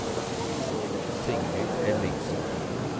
Signy Ellingsen